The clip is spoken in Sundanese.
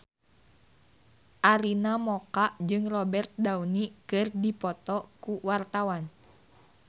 Arina Mocca jeung Robert Downey keur dipoto ku wartawan